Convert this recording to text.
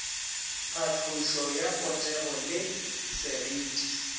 tlhatlošo ya potego le seriti